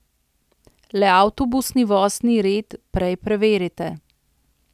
Le avtobusni vozni red prej preverite.